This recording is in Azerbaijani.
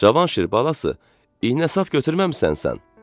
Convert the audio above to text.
Cavanşir balası, iynə-sap gətirməmisən sən?